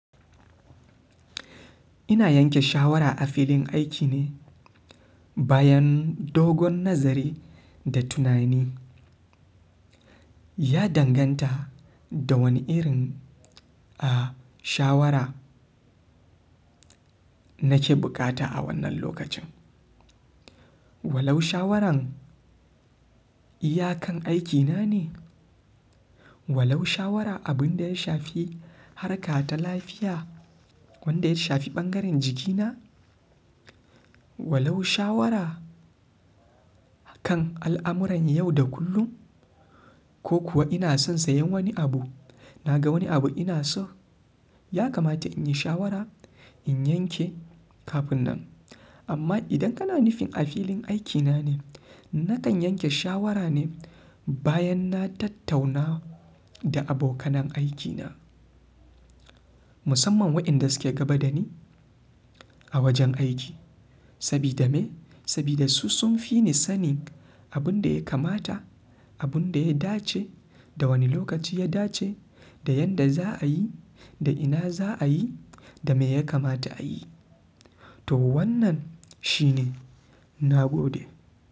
Ina yanke shawara a filin aiki ne bayan dogon nazari da tunani. Ya danganta da wani irin, a, shawara nake buƙata a wannan lokacin. Walau shawaran iya kan aikina ne, walau shawara abin da ya shafi harƙa ta lafiya wanda ya shafi ɓangaren jikina, walau shawara kan al'amuran yau da kullum ko kuwa ina son sayan wani abu, na ga wani abu ina so, ya kamata in yi shawara in yanke kafin nan. Amma idan kana nufin a filin aikina ne, nakan yanke shawara ne bayan na tattauna da abokanan aikina musamman wa'inda suke gaba da ni a wajen aiki. Sabida me? Sabida su sun fi ni sanin abin da ya kamata, abin da ya dace, da wane lokaci ya dace, da yanda za a yi, da ina za a yi da me ya kamata a yi. To wannan shine na gode.